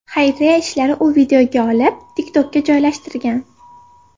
Xayriya ishlarini u videoga olib, TikTok’ka joylashtirgan.